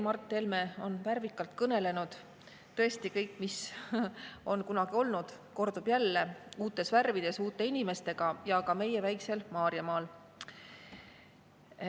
Mart Helme kõneles tõesti värvikalt sellest, mis on kunagi olnud ja mis kordub jälle uutes värvides, uute inimestega ja ka meie väiksel Maarjamaal.